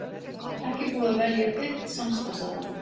Ekki búið að velja einn samstarfsaðila